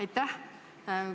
Aitäh!